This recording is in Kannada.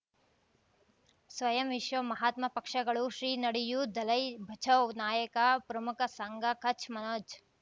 ಸ್ವಯಂ ವಿಶ್ವ ಮಹಾತ್ಮ ಪಕ್ಷಗಳು ಶ್ರೀ ನಡೆಯೂ ದಲೈ ಬಚೌ ನಾಯಕ ಪ್ರಮುಖ ಸಂಘ ಕಚ್ ಮನೋಜ್